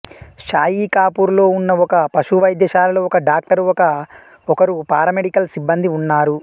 షాయికాపూర్లో ఉన్న ఒక పశు వైద్యశాలలో ఒక డాక్టరు ఒకరు పారామెడికల్ సిబ్బందీ ఉన్నారు